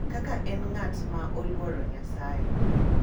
Kaka en ng’at ma oluor Nyasaye, .